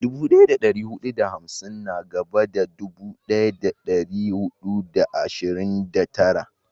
Dubu daya da dari hudu da hamsin na gaban dubu daya da dari hudu da arba'in da tara